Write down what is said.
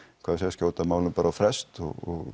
skjóta málum bara á frest og